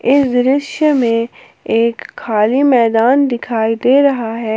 इस दृश्य में एक खाली मैदान दिखाई दे रहा है।